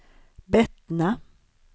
Bettna